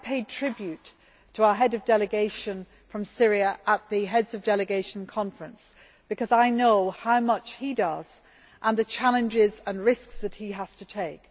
I paid tribute to our Head of Delegation for Syria at the Heads of Delegation Conference because I know how much he does and the challenges and risks he has to take.